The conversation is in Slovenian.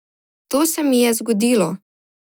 To se mi je zgodilo.